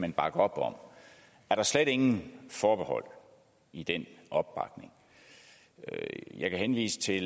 man bakke op om er der slet ingen forbehold i den opbakning jeg kan henvise til